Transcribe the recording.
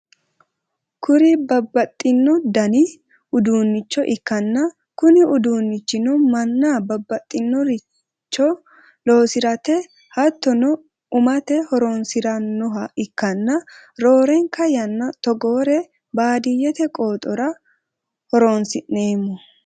kuri babbaxxino dani uduunnicho ikkanna kuni uduunnichino mannu babbaxxinoricho loosirate hattono u''mate horonsi'rannoha ikkanna, roorenka yanna togoore baadiyyete qooxora horonsi'neemmo.